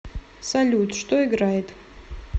салют что играет